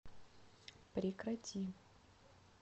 прекрати